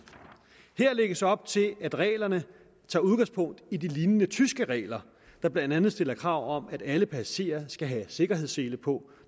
her lægges op til at reglerne tager udgangspunkt i de lignende tyske regler der blandt andet stiller krav om at alle passagerer skal have sikkerhedssele på